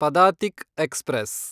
Padatik express